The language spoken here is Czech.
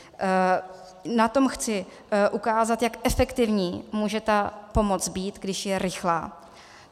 Na tom chci ukázat, jak efektivní může ta pomoc být, když je rychlá.